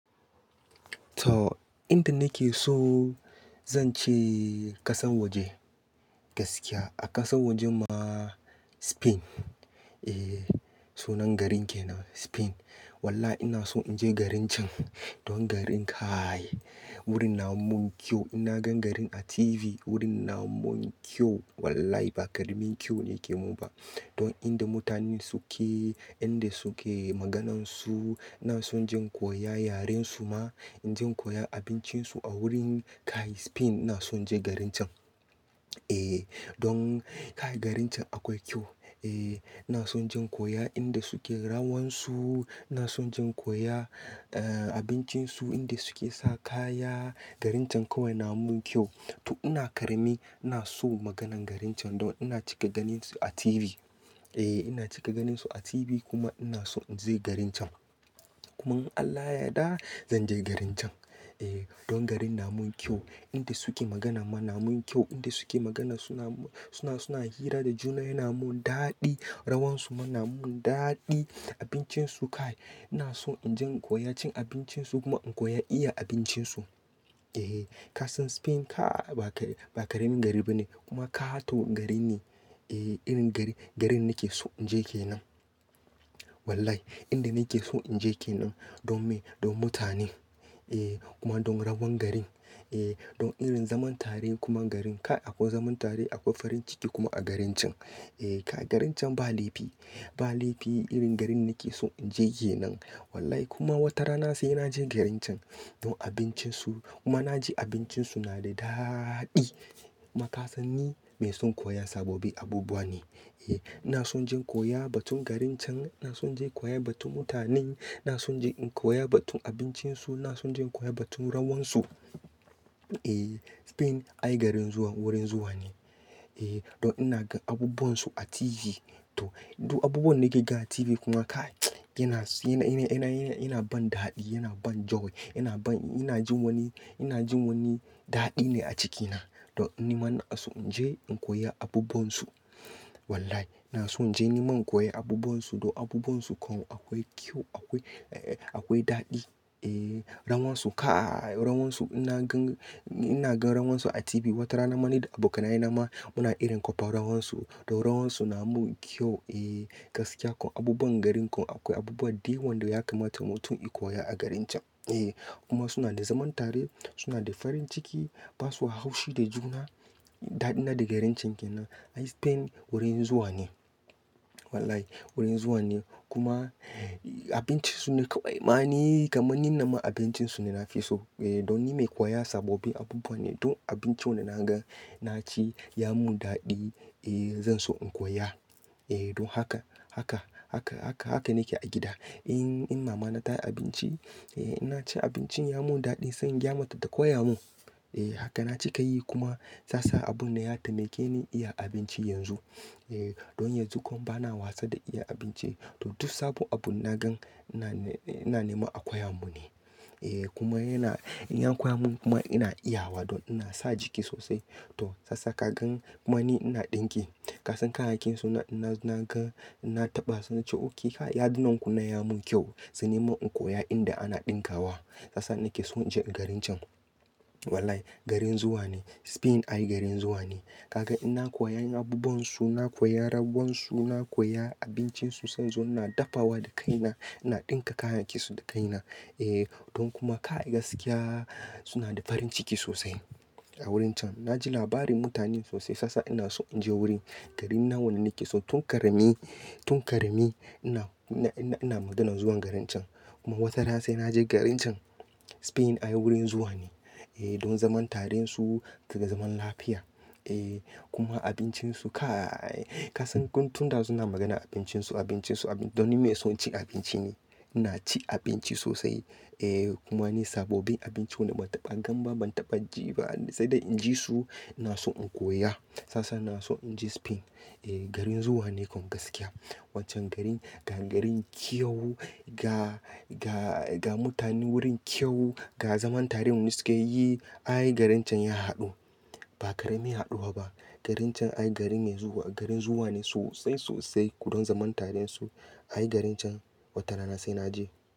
To, inda nake so zan ce ƙasan waje gaskiya a ƙasan waje ma Spain. Eh, sunan garin ke nan Spain. Walla ina so in je garin can. Don garin kae wurin na mun kyau. Ina gan garin a TV wurin na mun kyau. Wallai ba ƙaramin kyau ne ke mun ba. Don inda mutanen su ke, inda su ke maganansu. Ina son jin koya yaren su ma. In jin koya abincin su a wurin kae Spain. Ina son je garin can. Eh, don kae garin can akwai kyau. Eh, ina son jin koya inda su ke rawansu. Ina son jin koya, eh, abincin su inda su ke sa kaya. Garin can kawai na mun kyau. To ina ƙarami ina so maganan garin can don ina cika ganin su a TV. Eh, ina cika ganin su a TV kuma ina so in je garin can. Kuma in Allah ya yarda zan je garin can. Eh, don garin na mun kyau. Inda su ke magana ma na mun kyau. Inda su ke magana suna, suna, suna hira da juna yana mun daɗi. Rawansu ma na mun daɗi. Abincin su kae ina so in jin koya cin abincin su kuma in koya iya abincin su. Eh, ka san Spain ka ba ba ƙaramin gari bane kuma kato gari ne. Eh, irin gari, gari nake so in je ke nan. Wallai inda nake so in je ke nan. Don me? Don mutanen. Eh, kuma don rawan garin. Eh, don irin zaman tare kuma garin kae akwai zaman tare akwai farin ciki kuma a garin can. Eh, kae garin can ba laifi. Ba laifi irin garin nake so in je ke nan. Wallai kuma wata rana sai na je garin can. Don abincin su kuma na ji abincin su na da daaadi. Makasanni mai son koya sababbi abubuwa ne. Eh, ina son jin koya batun garin can. Ina son je koya batun mutanen. Ina son je in koya batun abincin su. Ina son je in koya batun rawansu. Eh, Spain ayi garin zuwa wurin zuwa ne. Eh, don ina gan abubun su a TV. To, duk abubuwan nake ga a TV kuma kae yana suna, yana, yana, yana ban daɗi, yana ban joy, yana ban, ina jin wani, ina jin wani daɗi ne a cikin na. Don ni mana so in je in koya abubuwan su. Wallai ina so in je ni man koya abubuwan su. Don abubuwan su kam akwai kyau akwai, akwai daɗi. Eh, rawansu kae rawansu ina gan, ina gan rawansu a TV. Wata rana ma ni da abokanai na ma muna irin kofa rawansu. Don rawansu na mun kyau. Eh, gaskiya kawai abubuwan garin kawai akwai abubuwa dayawan da ya kamata mutun in koya a garin can. Eh, kuma suna da zaman tare suna da farin ciki basu haushi da juna. Ɗaɗina da garin can ke nan. Ayi Spain wurin zuwa ne. Wallai wurin zuwa ne. Kuma abincin su ne kawai ma ni kamannin na ma abincin su ne na fi so. Eh, don ni mai koya sababbin abubuwa ne. Don abinci wanda na gan na ci ya mun daɗi. Eh, zan so in koya. Eh, don haka, haka, haka, haka, haka nake a gida. In, in mama na ta yi abinci, eh, ina ci abincin ya mun daɗi zan gyama ta ta koya mun. Eh, haka na cika yi kuma sa, sa abun na ya taimike ni iya abinci yanzu. Eh, don yanzu kawai bana wasa da iya abinci. To duk sabon abun na gan ina, ina neman a koya mun ne. Eh, kuma yana, in ya koya mun kuma ina iya wa don ina sa jiki sosai. To sasa ka gan kuma ni ina ɗinki Ka san kayakin su na, na, na gan na taɓa su nacew oke kae yadinan ku na ya mun kyau. Sai ni man in koya inda ana ɗinka wa. Sasa nake so in je garin can. Wallai garin zuwa ne. Spain ayi garin zuwa ne. Ka gan ina koya yin abubuwan su, na koya rawansu, na koya abincin su sai zuwa ina dafawa da kai na. Ina ɗinka kayakin su da kai na. Eh, don kuma kae gaskiya suna da farin ciki sosai a wurin can. Na ji labarin mutanen sosai sasa ina so in je wurin. Garin nawa na nake so tun ƙarami, tun ƙarami ina, ina, ina, ina maganan zuwan garin can. Kuma wata rana sai na je garin can. Spain ayi wurin zuwa ne. Eh, don zaman tare su daga zaman lafiya. Eh, kuma abincin su kae ka san tun da suna magana abincin su, abincin su, abin don ni mai son cin abinci ne. Ina cin abinci sosai. Eh, kuma ni sabobin abinci wanda ban taɓa gan ba ban taɓa ji ba sai da in ji su ina so in koya. Sasa ina so in je Spain. Eh, garin zuwa ne kawai gaskiya. Wancan garin, ga garin kyawu, ga, ga, ga mutanen wurin kyawu, ga zaman tare mun su ke yi. Ayi garin can ya haɗu. Ba ƙarami ya haɗuwa ba. Garin can ayi garin mai zuwa, garin zuwa ne sosai sosai. Don zaman tare su ayi garin can wata rana sai na je.